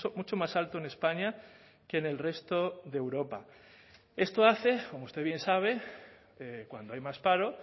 mucho más alto en españa que en el resto de europa esto hace como usted bien sabe cuando hay más paro